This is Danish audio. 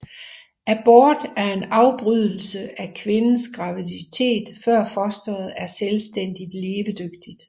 Abort er en afbrydelse af kvindens graviditet før fosteret er selvstændigt levedygtigt